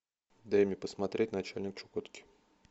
дай мне посмотреть начальник чукотки